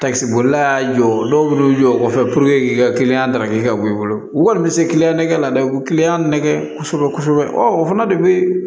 Takisibolila jɔ dɔw minnu bɛ jɔ o kɔfɛ puruke k'i ka daraka kɛ ka bɔ i bolo u kɔni bɛ se ki nɛgɛ la dɛ nɛgɛ kosɛbɛ kosɛbɛ o fana de bɛ